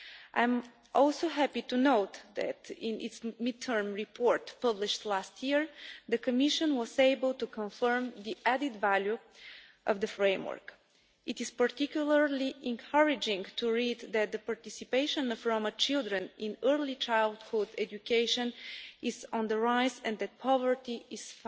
I'm also happy to note that, in its mid term report published last year, the Commission was able to confirm the added value of the framework. It is particularly encouraging to read that the participation of Roma children in early childhood education is on the rise and that poverty